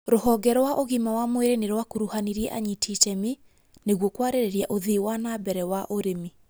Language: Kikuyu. Rũhonge rwa ũgima wa mwĩrĩ nĩ rwakũruhanirie anyiti itemi nĩguo kwarĩrĩria ũthii wa na mbere wa ũrĩmi